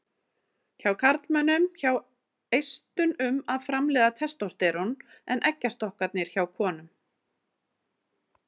Hjá karlmönnum sjá eistun um að framleiða testósterón en eggjastokkarnir hjá konum.